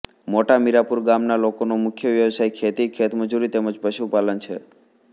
મોટા મીરાપુર ગામના લોકોનો મુખ્ય વ્યવસાય ખેતી ખેતમજૂરી તેમ જ પશુપાલન છે